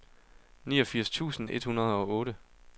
niogfirs tusind et hundrede og otte